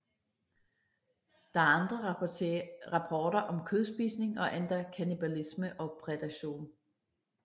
Der er andre rapporter om kødspisning og endda kannibalisme og prædation